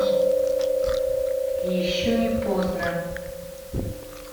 еще не познер